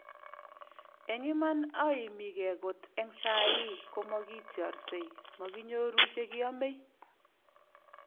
Eng iman aimigee kot eng sai komakitiorsei ,makinyoru che kiomei ."